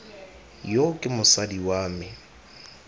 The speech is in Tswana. yo ke mosadi wa me